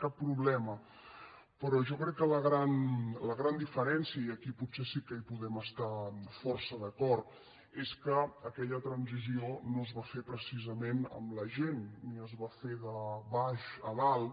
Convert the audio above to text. cap problema però jo crec que la gran diferència i aquí potser sí que hi podem estar força d’acord és que aquella transició no es va fer precisament amb la gent ni es va fer de baix a dalt